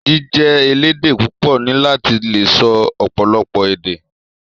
Jíjẹ elédè púpọ ní láti lè sọ ọpọlọpọ èdè.